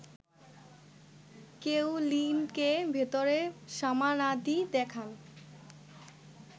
কেইলিনকে ভেতরের সামানাদি দেখান